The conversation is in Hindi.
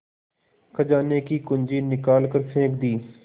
खजाने की कुन्जी निकाल कर फेंक दी